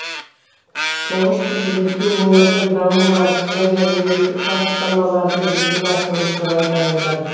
тұңғыш президентке өңірдің даму барысы және әлеуметтік бастамалардың жүзеге асырылуы туралы баяндады